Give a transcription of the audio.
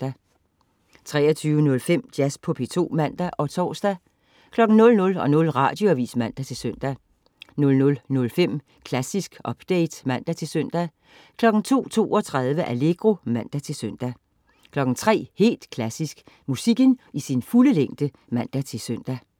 23.05 Jazz på P2 (man og tors) 00.00 Radioavis (man-søn) 00.05 Klassisk update (man-søn) 02.32 Allegro (man-søn) 03.00 Helt Klassisk. Musikken i sin fulde længde (man-søn)